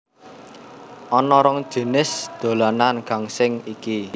Ana rong jinis dolanan gangsing iki